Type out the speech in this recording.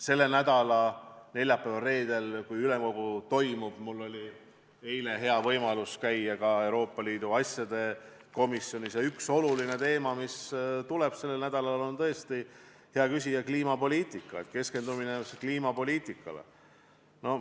Selle nädala neljapäeval ja reedel, kui toimub ülemkogu – mul oli eile hea võimalus käia ka Euroopa Liidu asjade komisjonis –, tuleb üks oluline teema kõne alla, tõesti, hea küsija, see on kliimapoliitika, keskendumine kliimapoliitikale.